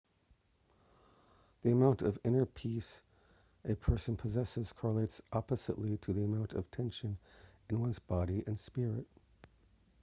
the amount of inner peace a person possesses correlates oppositely to the amount of tension in one's body and spirit